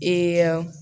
Ee